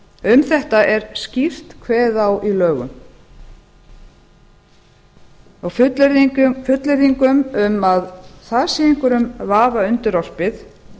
um þetta er skýrt kveðið á í lögum og fullyrðingum um að það sé einhverjum vafa undirorpið